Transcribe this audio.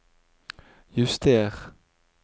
juster